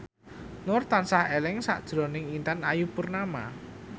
Nur tansah eling sakjroning Intan Ayu Purnama